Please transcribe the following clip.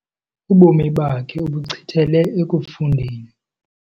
Ubomi bakhe ubuchithele ekufundeni.